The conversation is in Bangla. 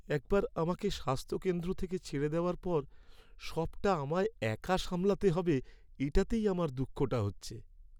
একবার আমাকে স্বাস্থ্যকেন্দ্র থেকে ছেড়ে দেওয়ার পর সবটা আমায় একা সামলাতে হবে এটাতেই আমার দুঃখটা হচ্ছে।